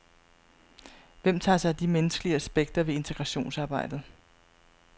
Hvem tager sig af de menneskelige aspekter ved integrationsarbejdet?